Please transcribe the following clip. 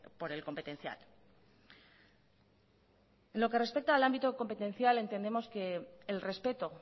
por el competencial lo que respecta al ámbito competencial entendemos que el respeto